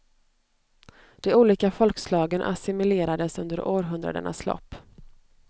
De olika folkslagen assimilierades under århundradenas lopp.